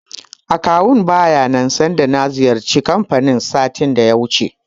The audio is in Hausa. Akawun baya nan sanda na ziyarci kanfanin satin da ya wuce.